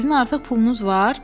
Sizin artıq pulunuz var?”